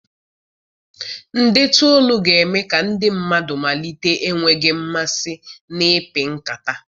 Ndetu olu ga-eme ka ndị mmadụ malite enweghị mmasị n'ịpị nkata.